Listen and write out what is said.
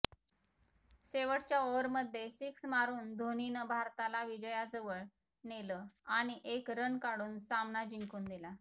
शेवटच्या ओव्हरमध्ये सिक्स मारून धोनीनं भारताला विजयाजवळ नेलं आणि एक रन काढून सामना जिंकून दिला